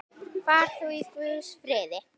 Far þú í Guðs friði.